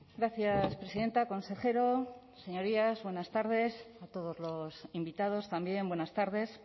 gracias presidenta consejero señorías buenas tardes a todos los invitados también buenas tardes